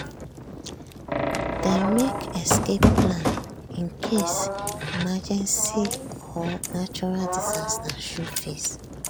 dem make escape plan in case emergency or natural disaster show face.